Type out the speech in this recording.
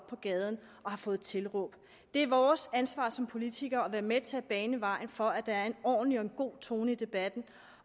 på gaden og har fået tilråb det er vores ansvar som politikere at være med til at bane vejen for at der er en ordentlig og en god tone i debatten